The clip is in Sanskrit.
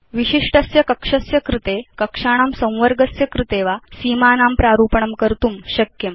विशिष्टस्य कक्षस्य कृते कक्षाणां संवर्गस्य कृते वा सीमानां प्रारूपणं कर्तुं शक्यम्